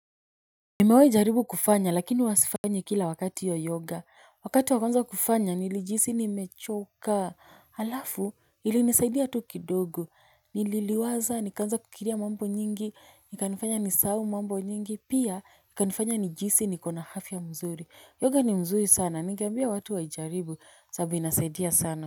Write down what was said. Nimewai jaribu kufanya lakini huwa sifanyi kila wakati iyo yoga wakati wa kwanza kufanya nilijihisi nimechoka alafu ilinisaidia tu kidogo nili liwaza nikaanza kukiria mambo nyingi ikanifanya nisau mambo nyingi pia ikanifanya nijiisi niko na hafya mzuri yoga ni mzuri sana ningeambia watu waijaribu sababu inasaidia sana.